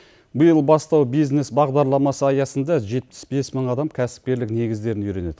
биыл бастау бизнес бағдарламасы аясында жетпіс бес мың адам кәсіпкерлік негіздерін үйренеді